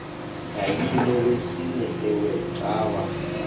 yayilolwesine iwe cawa